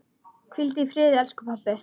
Hvíldu í friði, elsku pabbi.